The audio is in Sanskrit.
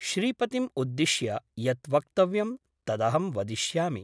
श्रीपतिम् उद्दिश्य यत् वक्तव्यं तदहं वदिष्यामि ।